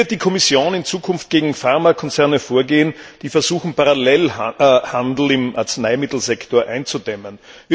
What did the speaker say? Wie wird die Kommission in Zukunft gegen Pharmakonzerne vorgehen, die versuchen, den Parallelhandel im Arzneimittelsektor einzudämmen?